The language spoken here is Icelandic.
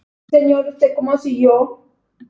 PÁLL: Vitið þið það ekki?